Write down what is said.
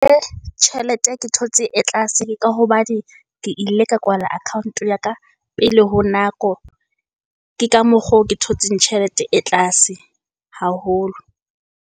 Tjhelete ke thotse e tlase ka hobane ke ile ka kwala account-o ya ka pele ho nako. Ke ka mokgo ke thotseng tjhelete e tlase haholo.